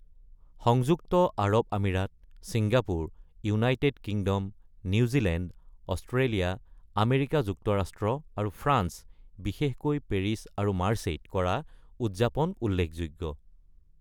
সংযুক্ত আৰৱ আমিৰাত, Singapore, United Kingdom, New Zealand, Australia, America যুক্তৰাষ্ট্ৰ, আৰু ফ্ৰান্স (বিশেষকৈ পেৰিছ আৰু মাৰ্চেই)ত কৰা উদযাপন উল্লেখযোগ্য।